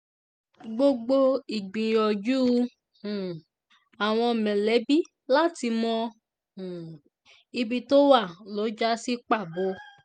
gbogbo ìgbìyànjú um àwọn mọ̀lẹ́bí láti mọ um ibi tó wà lọ já sí pàbó